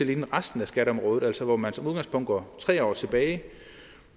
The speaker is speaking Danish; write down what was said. ligne resten af skatteområdet altså hvor man som udgangspunkt går tre år tilbage